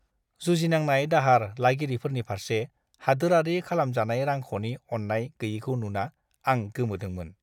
जुजिनांनाय दाहार लागिरिफोरनि फारसे हादोरारि खालामजानाय रांख'नि अननाय गैयैखौ नुना आं गोमोदोंमोन!